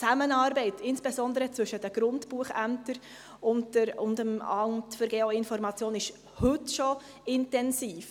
Die Zusammenarbeit, insbesondere zwischen den Grundbuchämtern und dem AGI, ist heute schon intensiv.